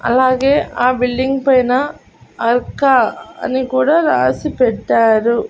అలాగే ఆ బిల్డింగ్ పైన అక్క అని కూడా రాసి పెట్టారు.